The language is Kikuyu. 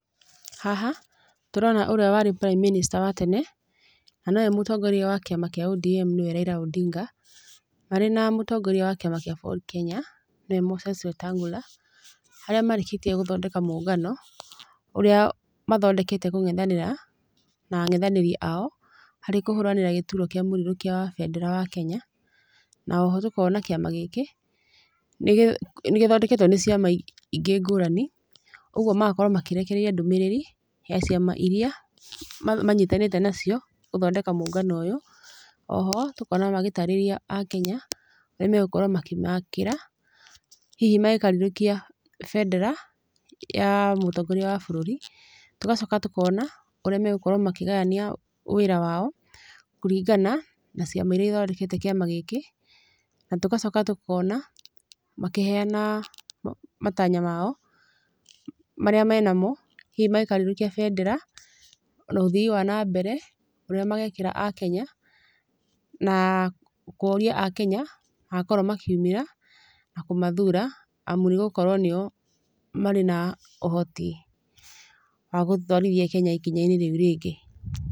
Haha, tũrona ũrĩa warĩ prime minister wa tene, na nowe mũtongoria wa kĩama kĩa ODM nĩwe Raila Odinga, marĩ na mũtongoria wa kĩama kĩa Ford Kenya, nĩwe Moses Wetangula. Harĩa marĩkĩtiĩ gũthondeka mũngano ũrĩa mathondekete kũng'ethanĩra, na ang'ethanĩri ao, harĩ kũhũranĩra gĩturwa kia mũrirũkia wa bendera wa Kenya. Na oho tũkona kĩama gĩkĩ, nĩgĩthondeketwo nĩ ciama ingĩ ngũrani ũguo magakorwo makĩrekereria ndũmĩrĩri, ya ciama iria manyitanĩte nacio gũthondeka mũngano ũyũ. Oho tũkona magĩtarĩria akenya, ũrĩa magũkorwo makĩmakĩra hihi mangĩkarirũkia bendera ya mũtongoria wa bũrũri. Tũgacoka tũkona ũrĩa magũkorwo makĩgayania wĩra wao kũringana na ciama iria ithondekete kĩama gĩkĩ. Na tũgacoka tũkona makĩheyana matanya mao marĩa menamo hihi mangĩkarirũkia bendera. Na ũthii wa nambere ũrĩa magekĩra akenya, na kũria akenya magakorwo makiumĩra kũmathura amu nĩgũkorwo nĩo marĩ na ũhoti wa gũtwarithia Kenya ikinya rĩu rĩngĩ.